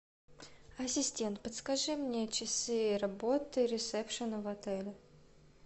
ассистент подскажи мне часы работы ресепшена в отеле